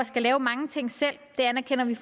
skal lave mange ting selv det anerkender vi